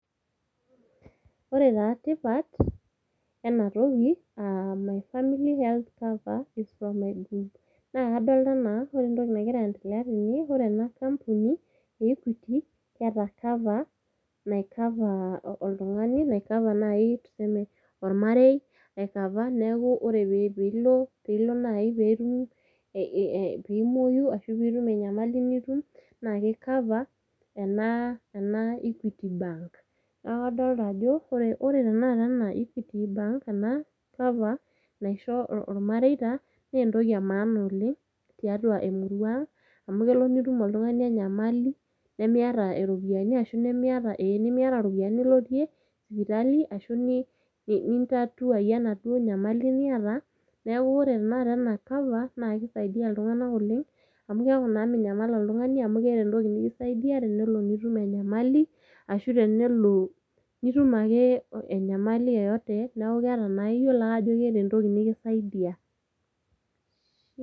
Ore taa tipat ena toki aa my family health cover from my group naa kadolita anaa ore entoki nagira aendelea tene ,ore ena company e equity ,eeta cover nai cover oltungani . Nai cover nai tuseme ormarei ai cover niaku ore pilo ,pilo nai pimwoyu ashu pitum enyamali nitum ki cover ena ena equity bank . niaku kadoloita ajoore ena equity bank ena cover naisho irmareita ,naa entoki emaana oleng tiatua emurua amu kelo nitum oltungani enyamali nemiata iropiyiani ashu nemiata ee nemiata iropiyiani nilotie sipitali ashu nintatuayie enaduoo nyamali niata, niaku ore tenakata ena cover naa kisaidia iltunganak oleng amu keaku naa minyamal oltungani amu keeta entoki nikisaidia tenelo nitum enyamali